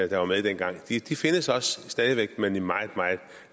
der var med dengang de findes også stadig væk men i meget meget